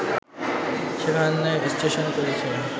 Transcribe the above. এখানে স্টেশন করেছে